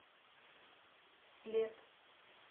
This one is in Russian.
след